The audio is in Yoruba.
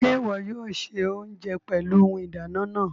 Ṣe iwọ yóò ṣe oúnjẹ pẹlú Ohùn ìdáná náà?